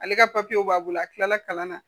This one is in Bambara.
Ale ka papiyew b'a bolo a tilala kalan na